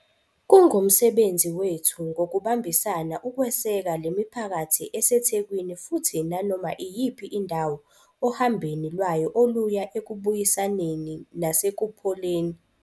Kungumsebenzi wethu ngokubambisana ukweseka lemiphakathi eseThekwini futhi nanoma iyiphi indawo ohambeni lwayo oluya ekubuyisaneni nasekupholeni.